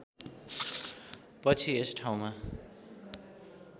पछि यस ठाउँमा